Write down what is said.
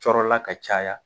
Cɔɔrɔla ka caya